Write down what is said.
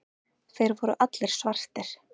Þeir voru allir svartir.